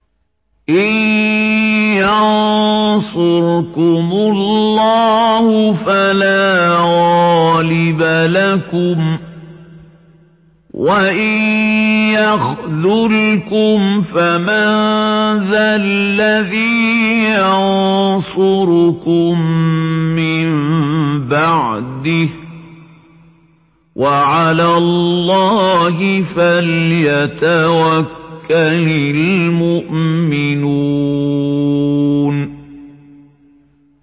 إِن يَنصُرْكُمُ اللَّهُ فَلَا غَالِبَ لَكُمْ ۖ وَإِن يَخْذُلْكُمْ فَمَن ذَا الَّذِي يَنصُرُكُم مِّن بَعْدِهِ ۗ وَعَلَى اللَّهِ فَلْيَتَوَكَّلِ الْمُؤْمِنُونَ